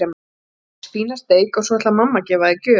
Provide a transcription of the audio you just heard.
Þú færð fína steik og svo ætlar mamma að færa þér gjöf.